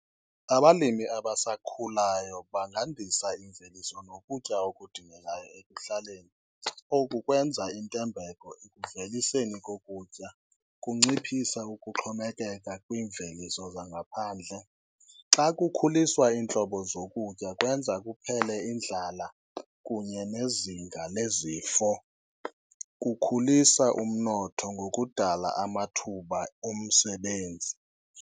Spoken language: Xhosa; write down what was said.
Abalimi abasakhulayo bangandisa imveliso nokutya okudingekayo ekuhlaleni, oku kwenza intembeko ekuveliseni kokutya, kunciphisa ukuxhomekeka kwiimveliso zangaphandle. Xa kukhuliswa iintlobo zokutya kwenza kuphele indlala kunye nezinga nezifo, kukhulisa umnotho ngokudala amathuba omsebenzi.